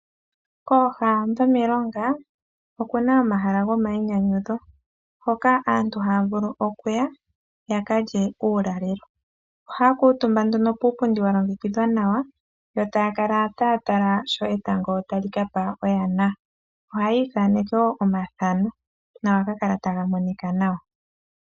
Kooha dhimilonga okuna omahala go mayinyanyudho, hoka aantu haya vulu okuya yaka lye uulalelo. Ohaya kuutumba nduno puupundi wa longekidhwa nawa, yo taya kala taya tala sho etango tali kapa oyana. Ohaya ithaneke woo omathano nohaga kala taga monika nawa.